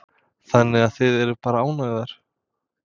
Þannig að þið eruð bara ánægðar?